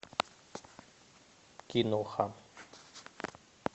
киноха